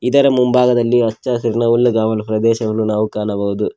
ಇದರ ಮುಂಭಾಗದಲ್ಲಿ ಹಚ್ಚ ಹಸಿರಿನ ಹುಲ್ಲುಗಾವಲು ಪ್ರದೇಶವನ್ನು ನಾವು ಕಾಣಬಹುದು.